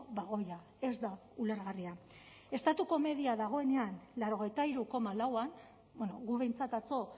bagoia ez da ulergarria estatuko media dagoenean laurogeita hiru koma lauan guk behintzat atzo